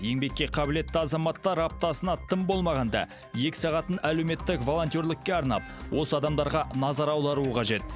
еңбекке қабілетті азаматтар аптасына тым болмағанда екі сағатын әлеуметтік волонтерлікке арнап осы адамдарға назар аударуы қажет